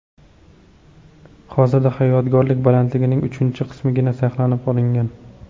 Hozirda yodgorlik balandligining uchinchi qismigina saqlanib qolingan.